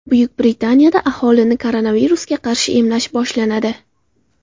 Buyuk Britaniyada aholini koronavirusga qarshi emlash boshlanadi.